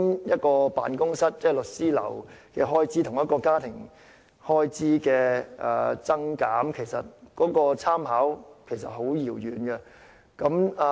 一間律師樓的開支與家庭的開支，兩者的分別其實十分巨大。